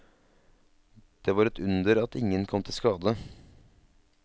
Det var et under at ingen kom til skade.